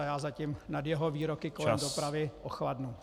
A já zatím nad jeho výroky kolem dopravy ochladnu.